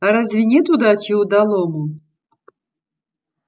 а разве нет удачи удалому